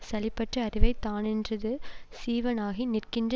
சலிப்பற்ற அறிவை தானென்றது சீவனாகி நிற்கின்ற